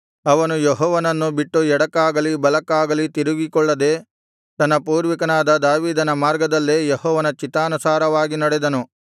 ಅವನು ಯೆಹೋವನನ್ನು ಬಿಟ್ಟು ಎಡಕ್ಕಾಗಲಿ ಬಲಕ್ಕಾಗಲಿ ತಿರುಗಿಕೊಳ್ಳದೆ ತನ್ನ ಪೂರ್ವಿಕನಾದ ದಾವೀದನ ಮಾರ್ಗದಲ್ಲೇ ಯೆಹೋವನ ಚಿತ್ತಾನುಸಾರವಾಗಿ ನಡೆದನು